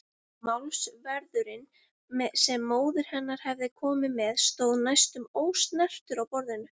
Málsverðurinn sem móðir hennar hafði komið með stóð næstum ósnertur á borðinu.